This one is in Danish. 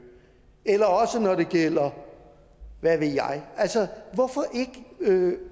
eller når det gælder hvad ved jeg hvorfor ikke